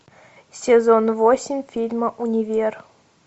сезон восемь фильма универ